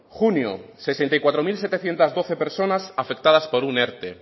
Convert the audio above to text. junio sesenta y cuatro mil setecientos doce personas afectadas por un erte